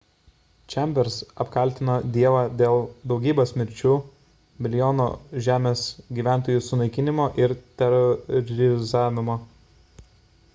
chambers apkaltino dievą dėl daugybės mirčių milijonų žemės gyventojų sunaikinimo ir terorizavimo